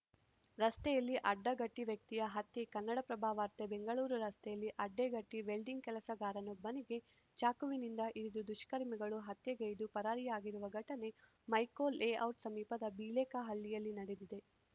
ರಸ್ತೆಯಲ್ಲಿ ಅಡ್ಡಗಟ್ಟಿವ್ಯಕ್ತಿಯ ಹತ್ಯೆ ಕನ್ನಡಪ್ರಭ ವಾರ್ತೆ ಬೆಂಗಳೂರು ರಸ್ತೆಯಲ್ಲಿ ಅಡ್ಡಗಟ್ಟಿವೆಲ್ಡಿಂಗ್‌ ಕೆಲಸಗಾರನೊಬ್ಬನಿಗೆ ಚಾಕುವಿನಿಂದ ಇರಿದು ದುಷ್ಕರ್ಮಿಗಳು ಹತ್ಯೆಗೈದು ಪರಾರಿಯಾಗಿರುವ ಘಟನೆ ಮೈಕೋ ಲೇಔಟ್‌ ಸಮೀಪದ ಬಿಳೇಕಹಳ್ಳಿಯಲ್ಲಿ ನಡೆದಿದೆ